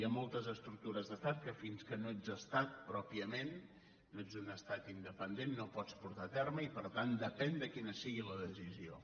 hi ha moltes estructures d’estat que fins que no ets estat pròpiament no ets un estat independent no pots portar a terme i per tant depèn de quina sigui la decisió